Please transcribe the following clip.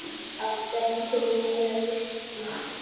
Áttu ekki til meira viskí?